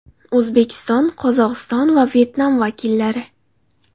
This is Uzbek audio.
O‘zbekiston, Qozog‘iston va Vyetnam vakillari.